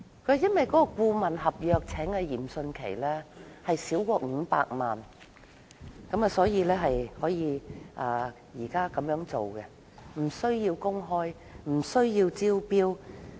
政府解釋，由於聘請嚴迅奇的顧問費用少於500萬元，所以無須公開，亦無須招標。